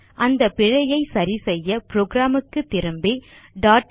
அந்த பிழையை சரிசெய்ய புரோகிராம் க்கு திரும்பி டாட்